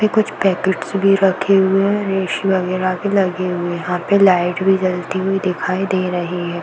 ये कुछ पैकिट्स भी रखे हुए हैं। रेस वगैरह भी लगे हुए हैं। यहाँ पे लाइट भी जलती हुई दिखाई दे रही है।